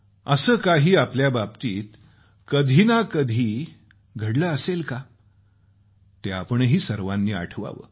असं काही आपल्याबाबतीत कधी ना कधी घडलं असेल काय ते आपणही सर्वांनी आठवावं